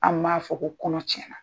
An b'a fɔ ko kɔnɔ tiɲɛna.